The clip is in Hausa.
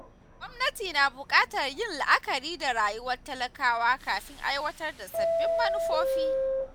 Gwamnati na bukatar yin la’akari da rayuwar talakawa kafin aiwatar da sabbin manufofi.